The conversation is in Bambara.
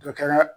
Dɔ kɛra